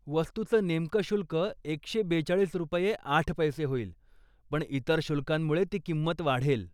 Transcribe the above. वस्तूचं नेमकं शुल्क एकशे बेचाळीस रुपये आठ पैसे होईल पण इतर शुल्कांमुळे ती किंमत वाढेल.